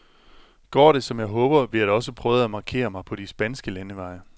Går det, som jeg håber, vil jeg da også prøve at markere mig på de spanske landeveje.